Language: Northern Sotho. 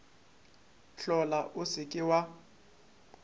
hlola o se ke wa